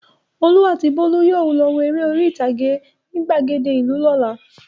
Olú àti Bólú yóò lọ wo eré orí-ìtàgé ní ìgbàgede ìlú lọ́la.